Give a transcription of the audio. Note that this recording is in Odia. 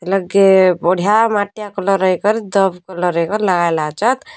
ଏଲଗେ ବଢ଼ିଆ ମାଟିଆ କଲର୍ ଏ କର ଦବ୍ ଏକର୍ କଲର୍ ଲାଗାଲା ଚତ୍।